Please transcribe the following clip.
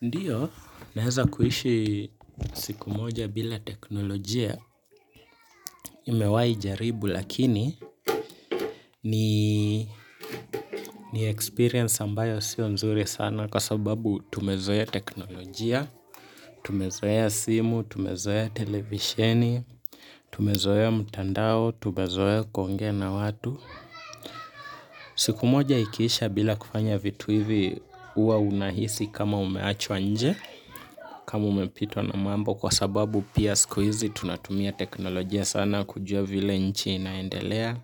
Ndio naweza kuishi siku moja bila teknolojia nimewai jaribu lakini ni experience ambayo sio nzuri sana kwa sababu tumezoea teknolojia, tumezoea simu, tumezoea televisheni, tumezoea mtandao, tumezoea kuongea na watu. Siku moja ikiisha bila kufanya vitu hivi uwa unahisi kama umeachwa nje kama umepitwa na mambo kwa sababu pia sikuizi tunatumia teknolojia sana kujua vile nchi inaendelea